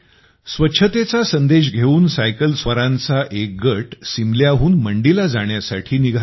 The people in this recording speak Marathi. स्वच्छतेचा संदेश घेऊन सायकलस्वारांचा एक गट सिमल्याहून मंडीला जाण्यासाठी निघाला आहे